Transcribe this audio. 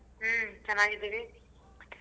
ಹ್ಮ್ ಚನ್ನಾಗಿದ್ದೀವಿ.